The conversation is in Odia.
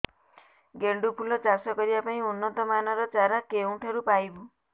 ଗେଣ୍ଡୁ ଫୁଲ ଚାଷ କରିବା ପାଇଁ ଉନ୍ନତ ମାନର ଚାରା କେଉଁଠାରୁ ପାଇବୁ